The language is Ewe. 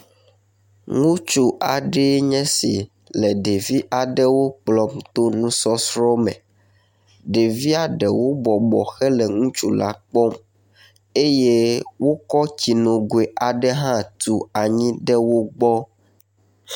nutsu aɖee nye si le ɖeviwo kplɔm to nusɔsrɔ aɖe me ɖevia ɖewo bɔbɔ hele ŋutsu la kpɔm eye wokɔ tsinogoe aɖe hã tu anyi ɖe wógbɔ